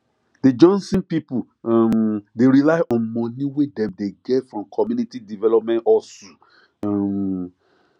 the johnson people um dey rely on money wey dem dey get from community development hustle um